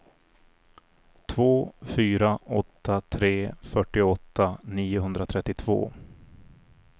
två fyra åtta tre fyrtioåtta niohundratrettiotvå